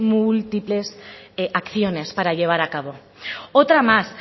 múltiples acciones para llevar a cabo otra más